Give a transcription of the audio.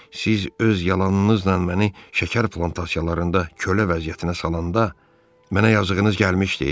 Siz öz yalanınızla məni şəkər plantasiyalarında kölə vəziyyətinə salanda, mənə yazığınız gəlmişdi?